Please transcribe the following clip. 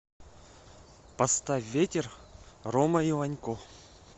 поставь ветер рома иванько